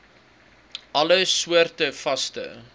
alle soorte vaste